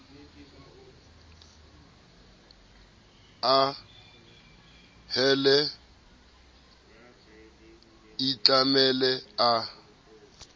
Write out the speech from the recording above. a hele a itlamele a